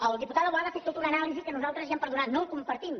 el diputat boada ha fet tota una anàlisi que nosaltres ja em perdonaran no la compartim